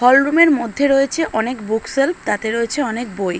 Hall room এর মধ্যে রয়েছে অনেক বুকসেলফ তাতে রয়েছে অনেক বই।